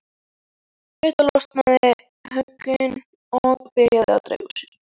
Við þetta losna höglin og byrja að dreifa sér.